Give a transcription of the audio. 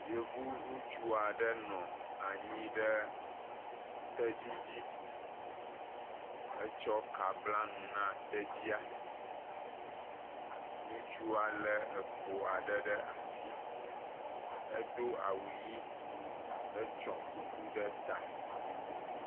yovu nutsuɔ ɖe nɔ anyi ɖe tedzi dzi etsɔ ka bla nu na tedzia nutsua le ekpoyiaɖe ɖe asi edo awu yi hetsɔ kuku ɖe ta